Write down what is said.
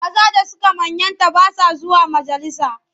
Maza da suka manyanta ba sa zuwa majalisa.